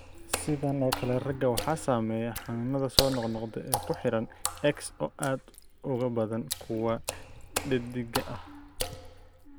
Sidan oo kale, ragga waxaa saameeya xanuunada soo noqnoqda ee ku xiran X oo aad uga badan kuwa dheddigga ah.